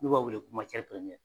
N'o b'a wele ko